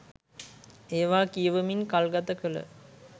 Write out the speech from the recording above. ඒවා කියවමින් කල්ගත කළ